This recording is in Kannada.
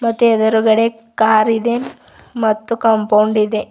ಮತ್ತೆ ಎದುರುಗಡೆ ಕಾರಿದೆ ಮತ್ತು ಕಾಂಪೌಂಡ್ ಇದೆ.